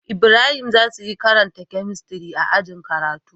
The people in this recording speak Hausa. Ibrahim zasuyi karanta chemistry a ajin karatu